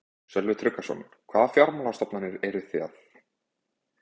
Sölvi Tryggvason: Hvaða fjármálastofnanir eru það?